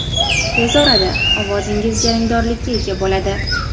Tez orada ovozingiz jarangdorlikka ega bo‘ladi.